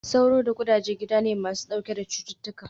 Sauro da ƙudaje gida ne masu ɗauke da cututtuka